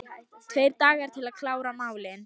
Tveir dagar til að klára málin